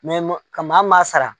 Mɛ ka maa ma sara.